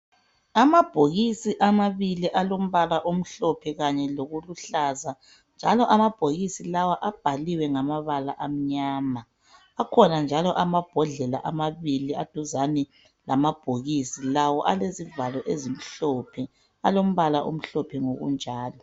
Amabokisi amabili alombala omhlophe kanye loluhlaza njalo amabhokisi lawo abhaliwe ngamabala amnyama akhona njalo amabhodlela amabili aduzane lamabhokisi lawo alezivalo ezimhlophe alombhala omhlophe ngokunjalo